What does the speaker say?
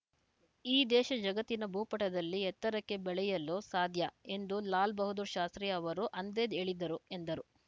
ಈ ದೇಶ ಜಗತ್ತಿನ ಭೂಪಟದಲ್ಲಿ ಎತ್ತರಕ್ಕೆ ಬೆಳೆಯಲು ಸಾಧ್ಯ ಎಂದು ಲಾಲ್‌ ಬಹದ್ದೂರ್‌ ಶಾಸ್ತ್ರೀ ಅವರು ಅಂದೇದ್ದ ಹೇಳಿದ್ದರು ಎಂದರು